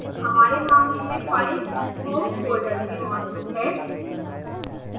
हमारे मामले में फाइल home फोल्डर में मौजूद है